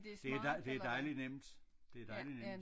Det dej det dejligt nemt det dejligt nemt